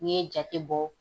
N'i ye jate bɔ